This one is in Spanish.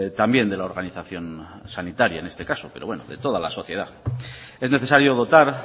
también de la organización sanitaria en este caso pero bueno de toda la sociedad es necesario dotar